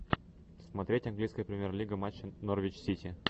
смотреть английская премьер лига матча норвич сити